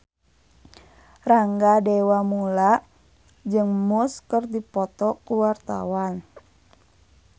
Rangga Dewamoela jeung Muse keur dipoto ku wartawan